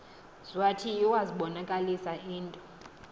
zwathi iwazibonakalisa into